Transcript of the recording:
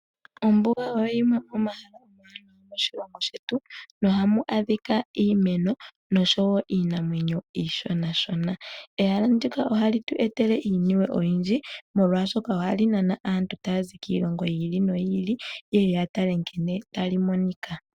Ombuga oyo yimwe yomomahala gomoshilongo shetu, nohamu adhika iimeno noshowo iinamwenyo iishonashona. Ehala ndika ohali tu etele iinima oyindji molwaashoka, ohali nana aantu tayazi kiilongo yi ili noyi ili, yeye ya tale nkene tali monika.